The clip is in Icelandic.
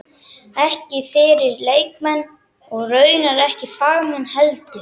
Ekki fyrir leikmenn- og raunar ekki fagmenn heldur.